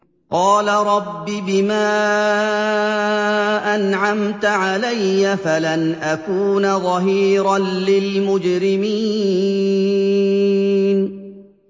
قَالَ رَبِّ بِمَا أَنْعَمْتَ عَلَيَّ فَلَنْ أَكُونَ ظَهِيرًا لِّلْمُجْرِمِينَ